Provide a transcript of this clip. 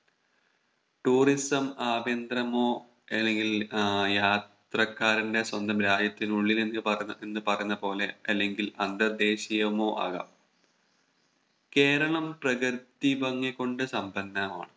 Tourism ആഭ്യന്തരമോ അല്ലെങ്കിൽ ഏർ യാത്രക്കാരന്റെ സ്വന്തം രാജ്യത്തിനുള്ളിൽ എന്ന് പറ എന്ന് പറയുന്ന പോലെ അല്ലെങ്കിൽ അന്തർ ദേശീയമോ ആകാം കേരളം പ്രകൃതി ഭംഗി കൊണ്ട് സമ്പന്നമാണ്